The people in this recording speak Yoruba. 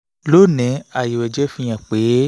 lónìí àyẹ̀wò ẹ̀jẹ̀ fihàn pé